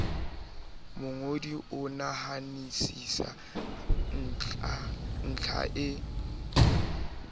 mongodi o nahanisisa ntlha e